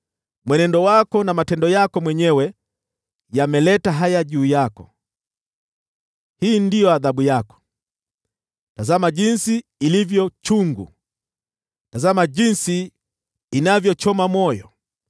“Mwenendo wako na matendo yako mwenyewe yameleta haya juu yako. Hii ndiyo adhabu yako. Tazama jinsi ilivyo chungu! Tazama jinsi inavyochoma moyo!”